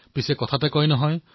কিন্তু কোৱা হয়